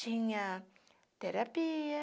Tinha terapia,